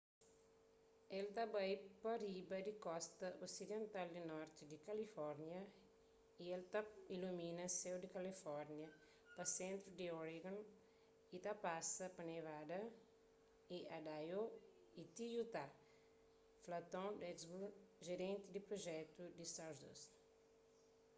el ta bai pa riba di kosta osidental di norti di kalifórnia y el ta ilumina séu di kalifórnia pa sentru di oregon y ta pasa pa nevada y idaho y ti utah fla tom duxbury jerenti di prujetu di stardust